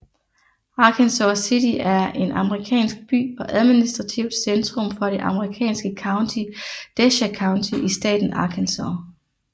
Arkansas City er en amerikansk by og administrativt centrum for det amerikanske county Desha County i staten Arkansas